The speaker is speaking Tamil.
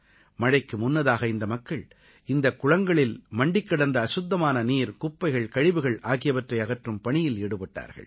மழைக்கு முன்னதாகவே இந்த மக்கள் இந்தக் குளங்களில் மண்டிக்கிடந்த அசுத்தமான நீர் குப்பைகள் கழிவுகள் ஆகியவற்றை அகற்றும் பணியில் ஈடுபட்டார்கள்